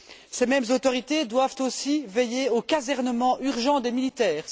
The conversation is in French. Ces mêmes autorités doivent aussi veiller au casernement urgent des militaires.